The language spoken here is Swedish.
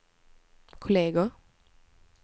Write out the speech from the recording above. kolleger